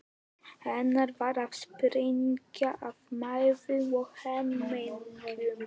Hann var að springa af mæði og hamingju.